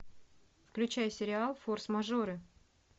включай сериал форс мажоры